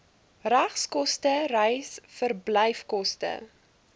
regskoste reis verblyfkoste